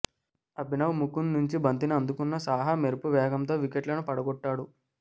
అభినవ్ ముకుంద్ నుంచి బంతిని అందుకున్న సాహా మెరుపు వేగంతో వికెట్లను పడగొట్టాడు